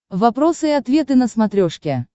вопросы и ответы на смотрешке